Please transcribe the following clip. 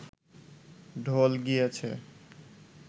ঢোল গিয়েছে